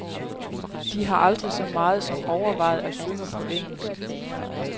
De har aldrig så meget som overvejet at synge på engelsk.